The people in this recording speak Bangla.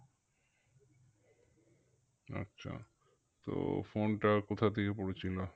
আচ্ছা তো phone টা কোথা থেকে পড়েছিল?